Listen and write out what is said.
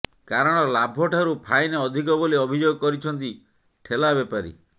କାରଣ ଲାଭ ଠାରୁ ଫାଇନ୍ ଅଧିକ ବୋଲି ଅଭିଯୋଗ କରିଛନ୍ତି ଠେଲା ବେପାରୀ